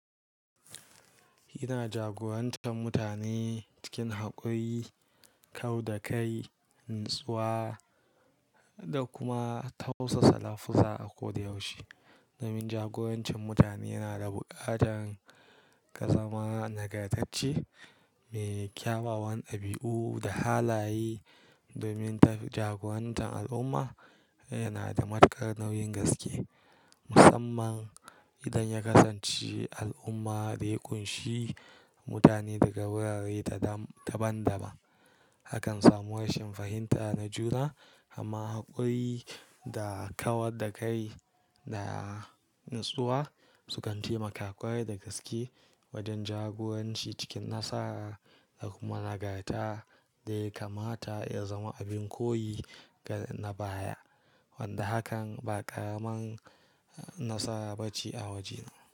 Yana jagoranci mutane cikin haƙuri, kau da kai, natsuwa da kuma tausa salafulsa a koyaushe. Domin jagorancin mutane yana da buƙatar ka zama nagartacce, mai kyawawan dabiyu da halaye. Domin jagorancin al'umma yana da matukar nauyin gaske, musamman idan ya kasance al'ummar da ya ƙunshi mutane daga wurare daban-daban. Akan samu rashin fahimta na juna, amma haƙuri da kawar da kai da natsuwa sukan taimaka ƙwarai da gaske wajen jagoranci cikin nasara da kuma nagarta da ya kamata ya zama abin koyi ga na baya. Wanda hakan ba ƙaraman nasara ba ce a waje.